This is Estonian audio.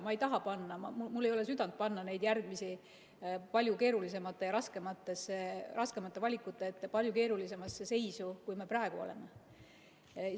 Ma ei taha panna ja mul ei ole südant panna neid järgmisi palju keerulisemate ja raskemate valikute ette, palju keerulisemasse seisu, kui meie praegu oleme.